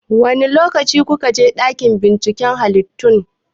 Wane lokaci kuka je dakin binciken halittu?